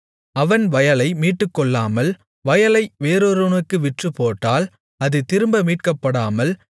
அவன் வயலை மீட்டுக்கொள்ளாமல் வயலை வேறொருவனுக்கு விற்றுப்போட்டால் அது திரும்ப மீட்கப்படாமல்